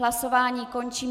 Hlasování končím.